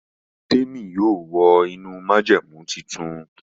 Temi yóò wọ inú májẹ̀mú títún.